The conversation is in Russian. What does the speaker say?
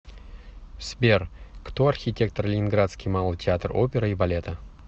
сбер кто архитектор ленинградский малый театр оперы и балета